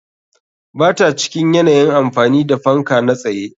Ba ta cikin yanayin amfani da fanka na tsaye.